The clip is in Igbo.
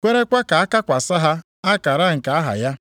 kwerekwa ka a kakwasị ha akara nke aha ya.